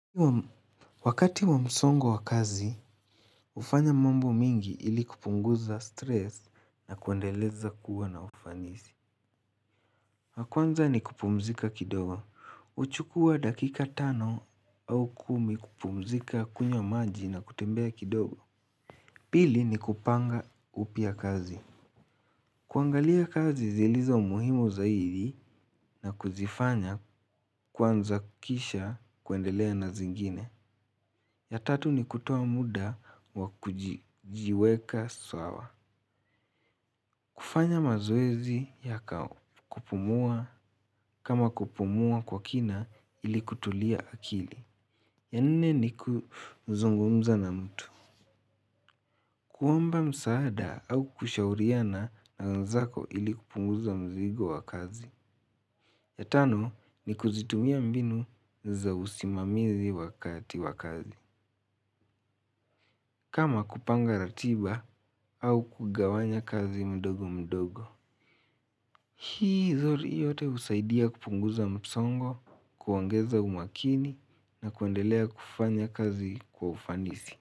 Wakati wa msongo wa kazi, hufanya mambo mengi ili kupunguza stress na kuendeleza kuwa na ufanisi. La kwanza ni kupumzika kidogo. Huchukua dakika tano au kumi kupumzika kunywa maji na kutembea kidogo. Pili ni kupanga upya kazi. Kuangalia kazi zilizo muhimu zaidi na kuzifanya kwanza kisha kuendelea na zingine. Ya tatu ni kutoa muda wa kujiweka sawa. Kufanya mazoezi ya kupumua kama kupumua kwa kina ili kutulia akili. Ya nne ni kuzungumza na mtu. Kuomba msaada au kushauriana na wenzako ili kupunguza mzigo wa kazi. Ya tano ni kuzitumia mbinu za usimamizi wakati wa kazi. Kama kupanga ratiba au kugawanya kazi mdogo mdogo. Hii yote husaidia kupunguza msongo, kuongeza umakini na kuendelea kufanya kazi kwa ufanisi.